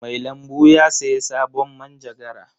Mai lambu ya sayi sabon manjagara.